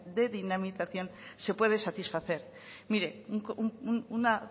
de dinamización se puede satisfacer mire una